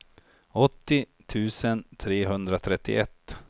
åttio tusen trehundratrettioett